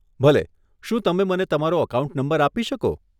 ભલે, શું તમે મને તમારો એકાઉન્ટ નંબર આપી શકો?